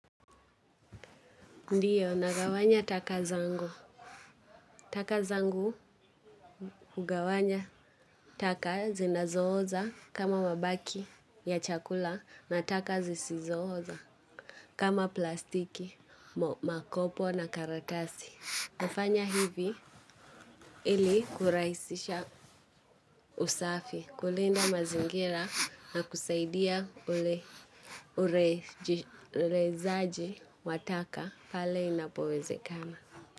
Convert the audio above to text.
Ndiyo, nagawanya taka zangu. Taka zangu, ugawanya taka zinazooza kama mabaki ya chakula na taka zisizooza kama plastiki, makopo na karatasi. Nafanya hivi ili kurahisisha usafi, kulinda mazingira na kusaidia ule zaaji wa taka pale inapowezekana.